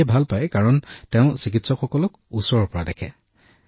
ৰোগীয়ে ইয়াক ভাল পায় কাৰণ তেওঁ চিকিৎসকক ওচৰৰ পৰা চাব পাৰে